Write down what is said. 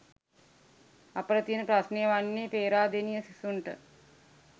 අපට තියන ප්‍රශ්නය වන්නේ පේරාදෙණිය සිසුන්ට